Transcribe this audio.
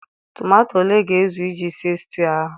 Tomato ole ga ezu iji sie stiu ahụ?